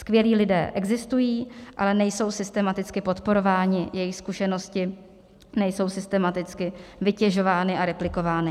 Skvělí lidé existují, ale nejsou systematicky podporováni, jejich zkušenosti nejsou systematicky vytěžovány a replikovány.